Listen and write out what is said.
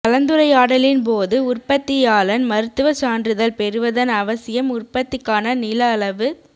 கலந்துரையாடலின் போது உற்பத்தியாளன் மருத்துவச் சான்றிதழ் பெறுவதன் அவசியம் உற்பத்திக்கான நிலஅளவுத்